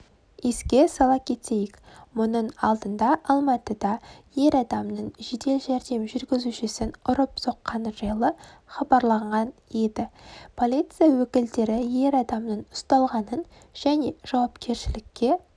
еске сала кетейік мұның алдындаалматыда ер адамның жедел жәрдем жүргізушісін ұрып-соққаны жайлы хабарланған еді полиция өкілдері ер адамның ұсталғанын және жауапкершілікке